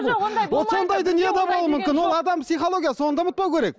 ол адам психологиясы оны да ұмытпау керек